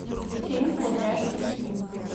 фильм кудряшка сью